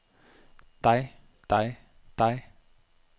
dig dig dig